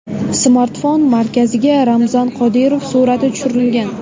Smartfon markaziga Ramzan Qodirov surati tushirilgan.